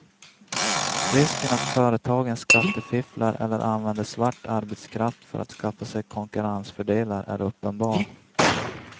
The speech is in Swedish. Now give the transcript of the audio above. Risken att företagen skattefifflar eller använder svart arbetskraft för att skaffa sig konkurrensfördelar är uppenbar.